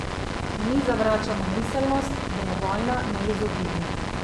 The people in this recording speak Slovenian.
Mi zavračamo miselnost, da je vojna neizogibna.